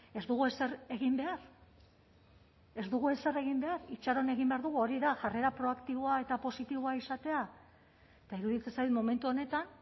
ez dugu ezer egin behar ez dugu ezer egin behar itxaron egin behar dugu hori da jarrera proaktiboa eta positiboa izatea eta iruditzen zait momentu honetan